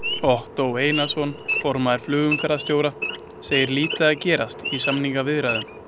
Ottó Einarsson, formaður Félags flugumferðarstjóra, segir lítið að gerast í samningaviðræðum.